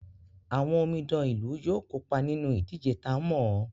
Àwọn omidan ìlú yóò kópa nínú ìdíje ta ń mọ̀ọ́.